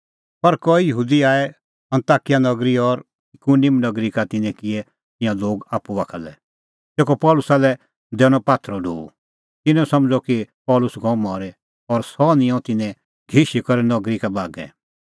पर कई यहूदी आऐ अन्ताकिया नगरी और इकुनिम नगरी का तिन्नैं किऐ तिंयां लोग आप्पू बाखा लै तेखअ पल़सी लै दैनअ पात्थरो ढो तिन्नैं समझ़अ कि पल़सी गअ मरी और सह निंयं तिन्नैं घिशी करै नगरी बागै